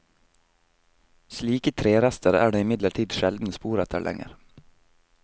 Slike trerester er det imidlertid sjelden spor etter lenger.